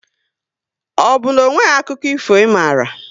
Ọ na onweghi akụkọ ifo ị mara?